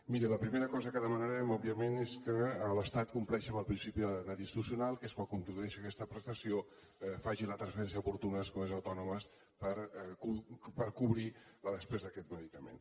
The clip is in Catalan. miri la primera cosa que demanarem òbviament és que l’estat compleixi amb el principi de lleialtat institucional que és quan introdueixi aquesta prestació que faci la transferència oportuna a les comunitats autònomes per cobrir la despesa d’aquest medicament